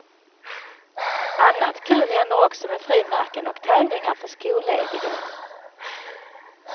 Annat kul händer också med frimärken och tävlingar för skollediga.